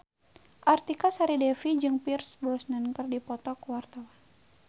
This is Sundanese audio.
Artika Sari Devi jeung Pierce Brosnan keur dipoto ku wartawan